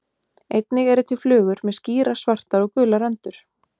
Einnig eru til flugur með skýrar svartar og gular rendur.